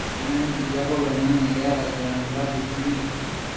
amaa nkijape olaing'ang'e keeta grand rapids mi